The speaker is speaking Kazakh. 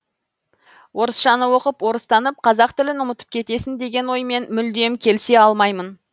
орысшаны оқып орыстанып қазақ тілін ұмытып кетесін деген оймен мүлдем келісе алмаймын